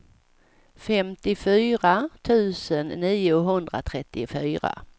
femtiofyra tusen niohundratrettiofyra